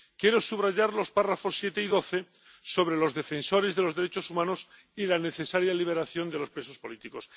Quiero subrayar los apartados 7 y 12, sobre los defensores de los derechos humanos y la necesaria liberación de los presos políticos.